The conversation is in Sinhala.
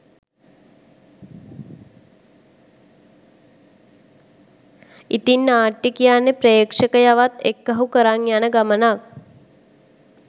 ඉතිං නාට්‍යය කියන්නේ ප්‍රේක්ෂකයවත් එක්කහු කරන් යන ගමනක්